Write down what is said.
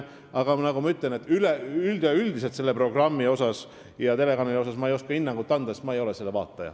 Aga nagu ma ütlesin, üldiselt ei oska ma selle programmi ja telekanali kohta hinnangut anda, sest ma ei ole selle vaataja.